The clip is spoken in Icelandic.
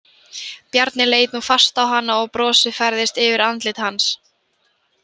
Bjarni leit nú fast á hana og brosið færðist yfir andlit hans.